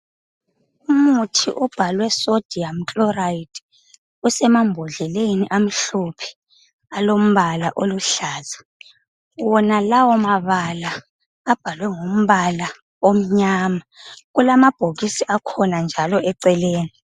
Umuthi obhalwe Sodium Chloride usemambodleleni amhlophe alombala oluhlaza. Wonalawo mabala abhalwe ngombala omnyama. Kulamabhokisi akhona njalo eceleni.